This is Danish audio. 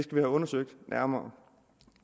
have undersøgt nærmere